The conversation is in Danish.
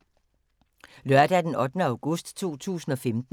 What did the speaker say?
Lørdag d. 8. august 2015